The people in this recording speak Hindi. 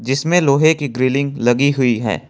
जिसमें लोहे की ग्रिलिंग लगी हुई है।